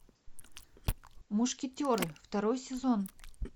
мушкетеры второй сезон